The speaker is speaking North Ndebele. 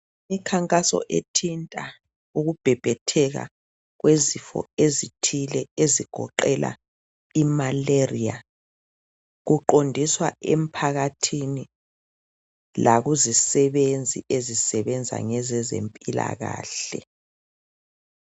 Imikhankaso ethinta ukubhebhetheka kwezifo ezithile ezigoqela imalaria kuqondiswa emphakathini lakuzisebenzi ezisebenza ngezempilakahle.